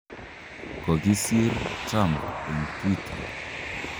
Kogisir Trump en Twitter.